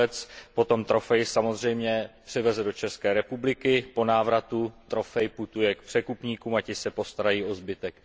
lovec potom trofej samozřejmě převeze do České republiky, po návratu trofej putuje k překupníkům a ti se postarají o zbytek.